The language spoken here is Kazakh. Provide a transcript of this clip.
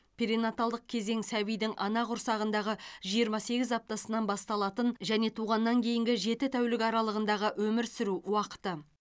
перинаталдық кезең сәбидің ана құрсағындағы жиырма сегіз аптасынан басталатын және туғаннан кейінгі жеті тәулік аралығындағы өмір сүру уақыты